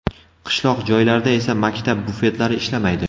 Qishloq joylarda esa maktab bufetlari ishlamaydi.